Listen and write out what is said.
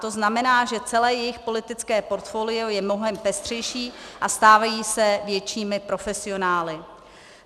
To znamená, že celé jejich politické portfolio je mnohem pestřejší a stávají se většími profesionály.